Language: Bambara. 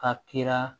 A kira